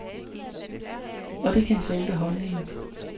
Og det kan så ændre holdningen.